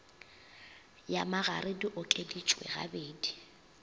ya magare di okeditšwe gabedi